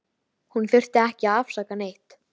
Hún þurfti ekki að afsaka neitt.